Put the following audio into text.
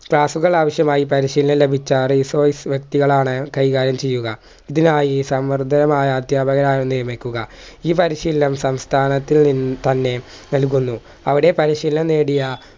staff ഉകൾ ആവശ്യമായി പരിശീലനം ലഭിച്ച resource വ്യക്തികളാണ് കൈകാര്യം ചെയ്യുക ഇതിനായി സംവർദ്ധമായ അധ്യാപകരെയായി നിയമിക്കുക ഈ പരിശീലനം സംസ്ഥാനത്തിൽ നിന്ന് തന്നെ നൽകുന്നു